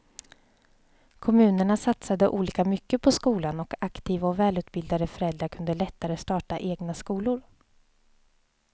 Kommunerna satsade olika mycket på skolan och aktiva och välutbildade föräldrar kunde lättare starta egna skolor.